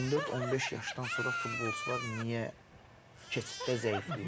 14-15 yaşdan sonra futbolçular niyə keçiddə zəifləyir?